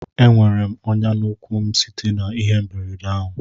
Enwere m onya na ụkwụ m site na ihe mberede ahụ